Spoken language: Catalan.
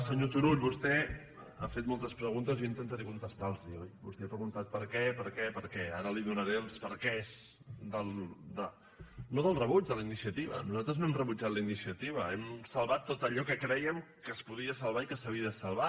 senyor turull vostè ha fet moltes preguntes i jo intentaré contestar·les·hi oi vostè ha preguntat per què per què per què ara li donaré els perquès del no del rebuig de la iniciativa nosaltres no hem re·butjat la iniciativa hem salvat tot allò que crèiem que es podia salvar i que s’havia de salvar